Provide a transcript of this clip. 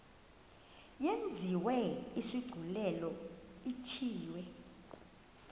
yenziwe isigculelo ithiwe